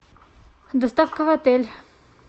доставка в отель